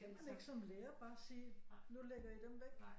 Kan man ikke som lærer bare sige nu lægger I dem væk